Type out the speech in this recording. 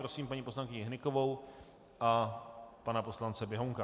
Prosím paní poslankyni Hnykovou a pana poslance Běhounka.